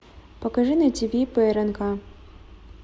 покажи на тиви прнк